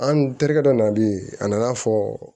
An terikɛ dɔ nana bi a nana fɔ